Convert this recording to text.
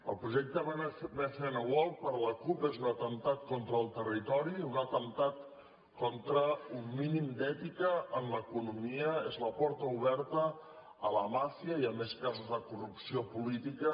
el projecte bcn world per la cup és un atemptat con·tra el territori un atemptat contra un mínim d’ètica en l’economia és la porta oberta a la màfia i a més casos de corrupció política